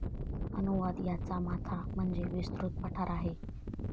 अनुवाद याचा माथा म्हणजे विस्तृत पठार आहे